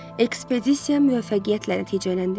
Ekspedisiya müvəffəqiyyətlə nəticələndi.